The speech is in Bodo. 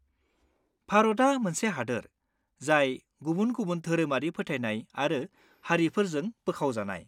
भारतआ मोनसे हादोर, जाय गुबुन-गुबुन धोरोमारि फोथायनाय आरो हारिफोरजों बोखावजानाय।